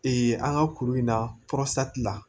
an ka kuru in na la